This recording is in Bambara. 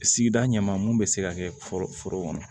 Sigida ɲɛma mun bɛ se ka kɛ foro foro kɔnɔ